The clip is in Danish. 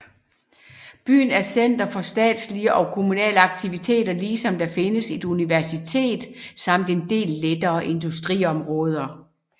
Byen er center for statslige og kommunale aktiviteter ligesom der findes et universitet samt en del lettere industri i området